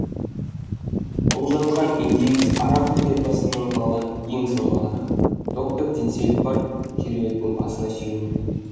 бұл жатқан индеец араку тайпасынан қалған ең соңғы адам доктор теңселіп барып кереуеттің басына сүйенді